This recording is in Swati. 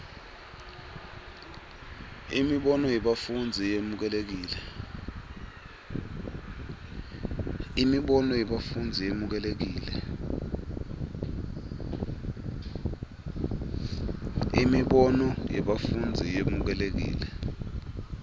imibono yebafundzi yemukelekile